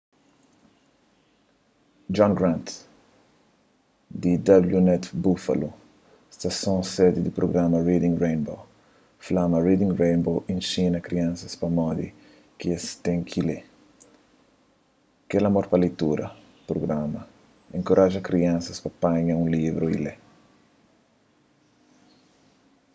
john grant di wned buffalo stason sedi di prugrama reading rainbow fla ma reading rainbow inxina kriansas pamodi ki es ten ki lê,... kel amor pa leitura - [prugrama] enkoraja kriansas pa panha un livru y lê.